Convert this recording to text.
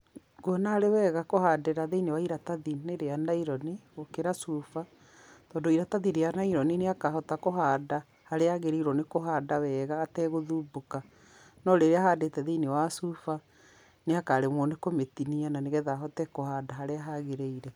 Nguona arĩ wega kũhandĩra thĩ-inĩ wa iratathi-inĩ rĩa naironi, gũkĩra cuba, tondũ iratathi rĩa naironi nĩakahota kũhanda, harĩa agĩrĩirwo nĩ kũhanda wega ategũthumbũka, no rĩrĩa ahandĩte thĩ-inĩ wa cuba, nĩakaremwo nĩ kũmĩtinia na nĩ getha ahote kũhanda harĩa hagĩrĩire.